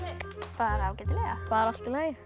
bara ágætlega bara allt í lagi